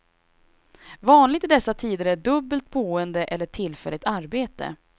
Vanligt i dessa tider är dubbelt boende eller tillfälligt arbete.